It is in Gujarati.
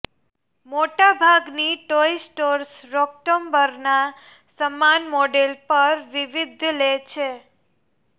મોટાભાગની ટોય સ્ટોર્સ રોક ટોમ્બરના સમાન મોડેલ પર વિવિધ લે છે